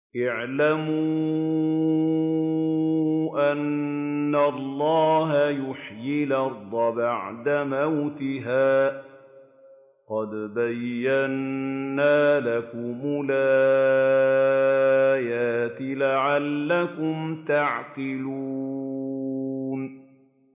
اعْلَمُوا أَنَّ اللَّهَ يُحْيِي الْأَرْضَ بَعْدَ مَوْتِهَا ۚ قَدْ بَيَّنَّا لَكُمُ الْآيَاتِ لَعَلَّكُمْ تَعْقِلُونَ